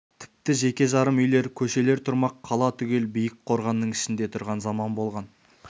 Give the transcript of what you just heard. тіпті жеке-жарым үйлер көшелер тұрмақ қала түгел биік қорғанның ішінде тұрған заман болған